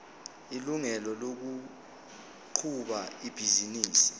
ilungelo lokuqhuba ibhizinisi